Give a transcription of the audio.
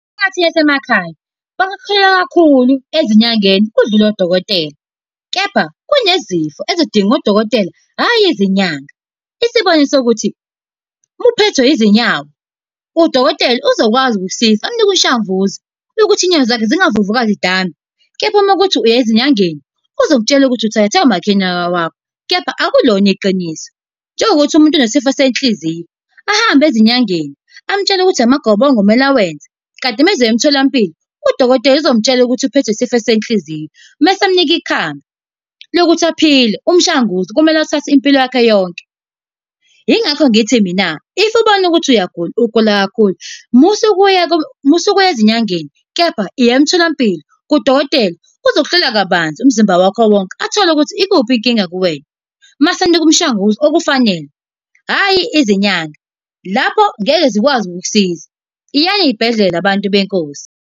Imphakathi yasemakhaya, bakholelwa kahulu ezinyangeni kudlule odokotela. Kepha kunezifo ezidinga odokotela, hhayi izinyanga. Isibonisa ukuthi, uma uphethwe izinyawo, udokotela uzokwazi ukukusiza akunike umshanguzo, wokuthi inyawo zakho zingavuvukali zidambe. Kepha mawukuthi uya ezinyangeni, uzokutshela ukuthi uthakathwe umakhelwane wakwakho, kepha akulona iqiniso. Njengokuthi umuntu unesifo senhliziyo, ahambe ezinyangeni, amutshele ukuthi amagobongo ekumele awenze. Kanti uma ezoya emtholampilo, udokotela uzomtshela ukuthi uphethwe yisifo senhliziyo mese emunika ikhambi lokuthi aphile, umshanguzo, kumele awuthathe impilo yakhe yonke. Yingakho ngithi mina, if ubona ukuthi uyagula, ugula kakhulu, musa ukuya , musa ukuya ezinyangeni kepha iya emtholampilo kudokotela, uzokuhlola kabanzi umzimba wakho wonke athole ukuthi ikuphi inkinga kuwena. Mase ekunika umshanguzo okufanele, hhayi izinyanga, lapho ngeke zikwazi ukukusiza. Iyani ey'bhedlela bantu benkosi.